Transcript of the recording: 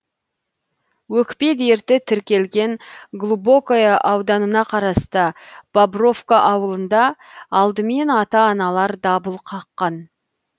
өкпе дерті тіркелген глубокое ауданына қарасты бобровка ауылында алдымен ата аналар дабыл қаққан